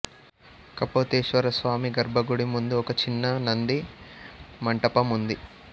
కపోతేశ్వరస్వామి గర్భగుడి ముందు ఒక చిన్న నంది మంటపం ఉంది